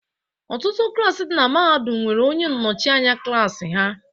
Ọtụtụ klaasị dị na Mahadum nwere onye nnọchi anya klaasị ha.